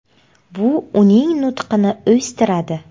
Bu uning nutqini o‘stiradi.